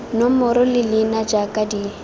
nomoro le leina jaaka di